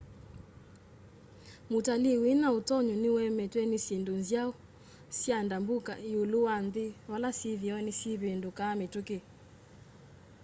mutalii wina utonyi ni uemetwe ni syindũ nzaũ sya ndambũka iũlu wa nthi vala syithio ni syivindukaa mituki